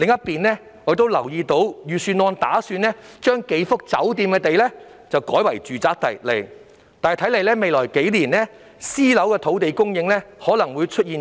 此外，我留意到預算案打算把數幅酒店用地改為住宅用地，看來未來數年私樓土地供應可能會出現斷層。